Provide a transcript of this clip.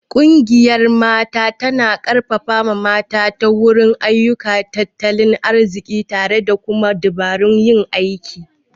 Ƙungiyar Mata tana ƙarfafa mata ta wurin ayyuka na tattalin arziki tare da kuma dabarun yin aiki..